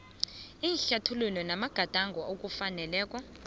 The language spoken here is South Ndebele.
ihlathululo amagadango okufanele